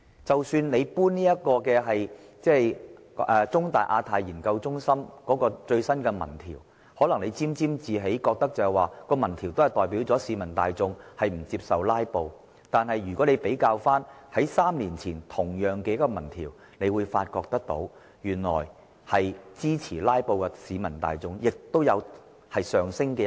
政府可能會因香港中文大學香港亞太研究所的最新民調結果而沾沾自喜，認為有關結果顯示市民大眾不接受"拉布"，但如果與3年前的同類民調比較，便會發現支持"拉布"的市民數目有上升趨勢。